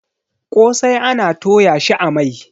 kosai ana Toya shi a Mai